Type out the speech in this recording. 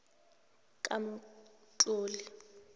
kamqoli